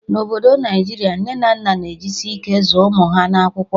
Na obodo Naijiria, nne na nna na ejisi ike zụọ ụmụ ha na akwụkwọ